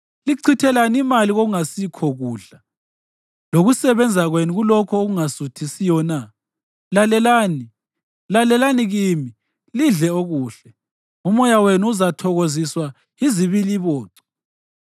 Lichithelani imali kokungasikho kudla, lokusebenza kwenu kulokho okungasuthisiyo na? Lalelani, lalelani kimi, lidle okuhle, umoya wenu uzathokoziswa yizibiliboco.